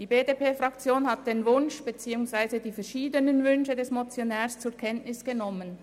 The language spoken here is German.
Die BDP-Fraktion hat die verschiedenen Wünsche des Motionärs zur Kenntnis genommen.